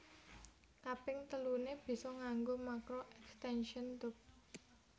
Kaping teluné bisa nganggo makro extention tube